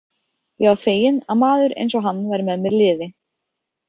Ég var feginn að maður eins og hann væri með mér í liði.